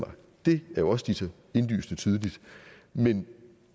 det er jo også ligesom indlysende tydeligt men